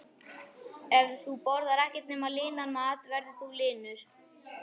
Ef þú borðar ekkert nema linan mat verður þú linur.